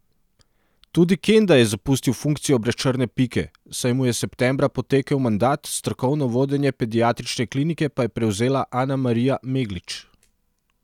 Tudi Kenda je zapustil funkcijo brez črne pike, saj mu je septembra potekel mandat, strokovno vodenje pediatrične klinike pa je prevzela Anamarija Meglič.